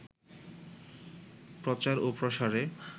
প্রচার ও প্রসারে